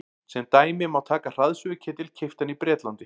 sem dæmi má taka hraðsuðuketil keyptan í bretlandi